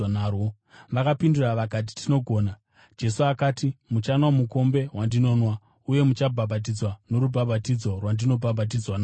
Vakapindura vakati, “Tinogona.” Jesu akati, “Muchanwa mukombe wandinonwa uye muchabhabhatidzwa norubhabhatidzo rwandinobhabhatidzwa narwo,